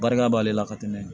Barika b'ale la ka tɛmɛ